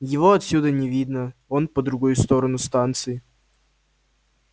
его отсюда не видно он по другой сторону станции